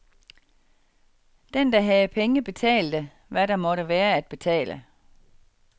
Den der havde penge betalte, hvad der måtte være at betale.